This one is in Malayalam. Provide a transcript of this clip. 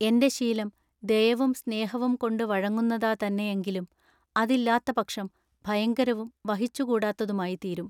എന്റെ ശീലം ദയവും സ്നേഹവും കൊണ്ടുവഴങ്ങുന്നത തന്നെ എങ്കിലും അതില്ലാത്ത പക്ഷം ഭയങ്കരവും വഹിച്ചു കൂടാത്തതുമായിത്തീരും.